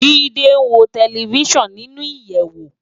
Jide n wó tèlèfisán ninú iyèwó